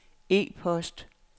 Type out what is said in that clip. e-post